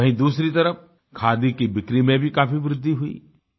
वहीँ दूसरी तरफ खादी की बिक्री में भी काफ़ी वृद्धि हुई